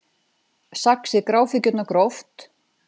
Saxið gráfíkjurnar gróft